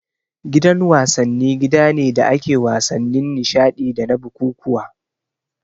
Gidan wasanni gida ne da ake wasannin nishadi dana bukukkuwa